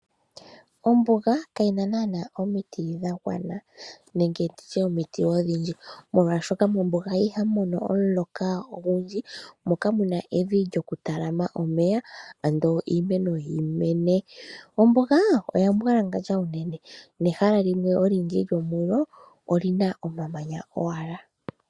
Ombuga yo yene kayina nana omiti dha gwana nenge nditye omiti odhindji molwashoka mombuga ihamu mono omuloka ogundji mo kamu na evi ndjoku talama omeya ando iimeno yimene. Ombuga oya mbwalangandja unene nehala limwe olindji lyomulo olina omamanya owala.